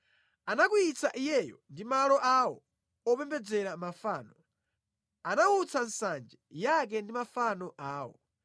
Anakwiyitsa Iyeyo ndi malo awo opembedzera mafano; anawutsa nsanje yake ndi mafano awo.